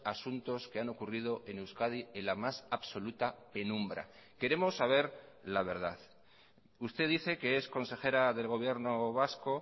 asuntos que han ocurrido en euskadi en la más absoluta penumbra queremos saber la verdad usted dice que es consejera del gobierno vasco